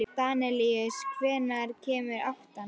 Danelíus, hvenær kemur áttan?